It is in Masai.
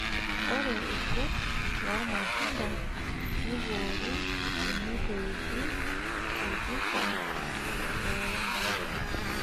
Ore irkurt lormatunda neboori teneitoipi orpipa lembulia.